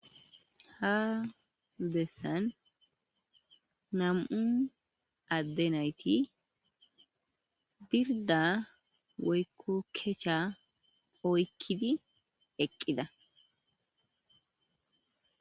ha bessan nam7un adde nayti birda woykkokecsha oykkidi eqqida